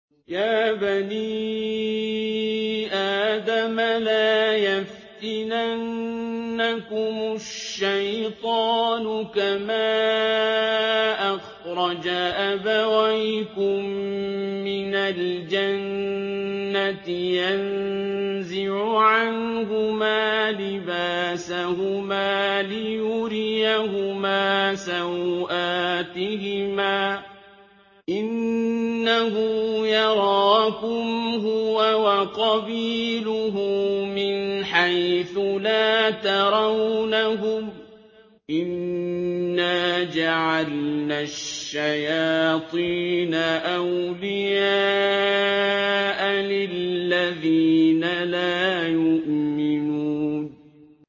يَا بَنِي آدَمَ لَا يَفْتِنَنَّكُمُ الشَّيْطَانُ كَمَا أَخْرَجَ أَبَوَيْكُم مِّنَ الْجَنَّةِ يَنزِعُ عَنْهُمَا لِبَاسَهُمَا لِيُرِيَهُمَا سَوْآتِهِمَا ۗ إِنَّهُ يَرَاكُمْ هُوَ وَقَبِيلُهُ مِنْ حَيْثُ لَا تَرَوْنَهُمْ ۗ إِنَّا جَعَلْنَا الشَّيَاطِينَ أَوْلِيَاءَ لِلَّذِينَ لَا يُؤْمِنُونَ